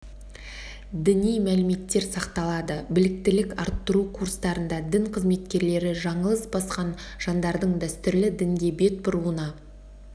діни мәліметтер сақталады біліктілік арттыру курстарында дін қызметкерлері жаңылыс басқан жандардың дәстүрлі дінге бет бұруына